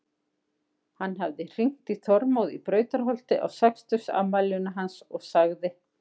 Hann hafði hringt í Þormóð í Brautarholti á sextugsafmælinu hans og sagði